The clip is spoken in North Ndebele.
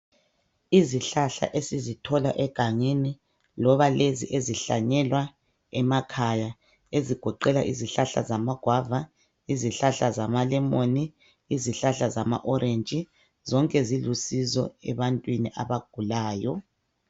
Izihlahla esizithola egangeni loba lezi ezihlanyelwa emakhaya ezigoqela izihlahla amagwava, izihlahla zama lemoni, izihlahla zama orentshi zonke zilusizo ebantwini abagulayo.